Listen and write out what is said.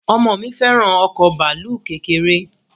Ọmọ mi fẹ́ràn ọkọ bàálù kékeré